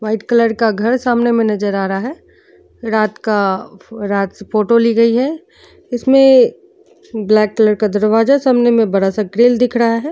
White colour का घर समने में नजर आ रहा है। रात का फ रात फोटो ली गई है| इसमें ब्लैक कलर का दरवाजा सामने में बड़ा सा ग्रिल दिख रहा है।